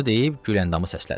Bunu deyib Güləndamı səslədi.